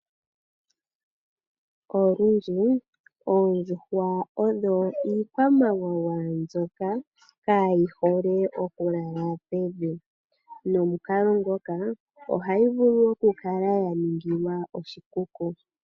Olundji oondjuhwa odho iikwamawawa mbyoka kayi hole oku lala pevi nomukalo ngoka ohayi vulu oku kala ya ningilwa oshikuku.